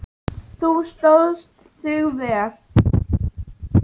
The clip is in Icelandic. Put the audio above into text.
Þú stóðst þig vel.